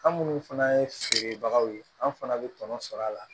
An minnu fana ye feerebagaw ye an fana bɛ tɔnɔ sɔrɔ a la